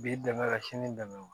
Bi dɛmɛ ka sini dɛmɛ wa